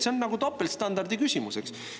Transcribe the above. See on topeltstandardi küsimus, eks.